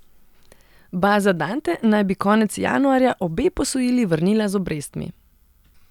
Baza Dante naj bi konec januarja obe posojili vrnila z obrestmi.